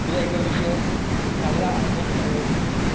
तुला एका विषयावर चांगला अभ्यास करायला मिळतो.